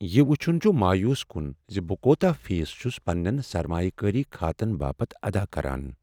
یہ وچھن چھ مایوس کن ز بہٕ کوتاہ فیس چھس پننین سرمایہ کٲری خاتن باپتھ ادا کران۔